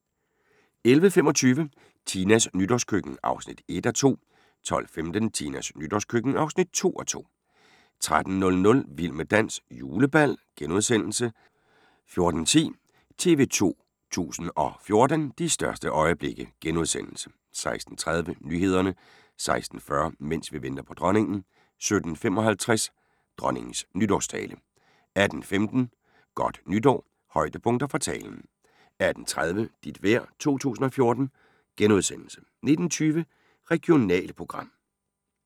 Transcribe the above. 11:25: Tinas nytårskøkken (1:2) 12:15: Tinas nytårskøkken (2:2) 13:00: Vild med dans – julebal * 14:10: TV 2 014: De største øjeblikke * 16:30: Nyhederne 16:40: Mens vi venter på Dronningen 17:55: Dronningens nytårstale 18:15: Godt nytår – højdepunkter fra talen 18:30: Dit vejr 2014 * 19:20: Regionalprogram